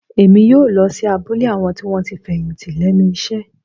Èmi yóò lọ sí abúlé àwọn tí wọ́n ti fẹ̀yìntì lẹ́nu iṣẹ́